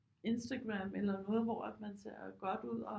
Instagram eller noget hvor man ser godt ud og